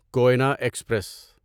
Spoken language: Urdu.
کوینا ایکسپریس